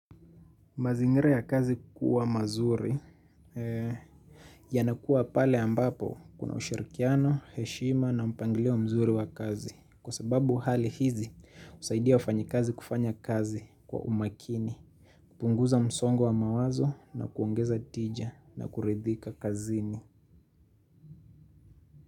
Mazingira ya kazi kuwa mazuri yanakuwa pale ambapo kuna ushirikiano, heshima na mpangilio mzuri wa kazi. Kwa sababu hali hizi husaidia wafanyikazi kufanya kazi kwa umakini. Kupunguza msongo wa mawazo na kuongeza tija na kuridhika kazini.